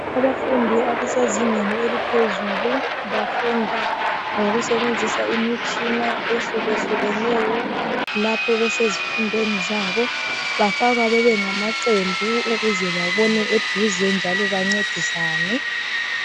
Abafundi abasezingeni eliphezulu bafunda ngokusebenzisa imitshina ehluke hlukeneyo lapho besezifundweni zabo bafakwa bebe ngamaqembu ukuze babone eduze njalo bancedisane.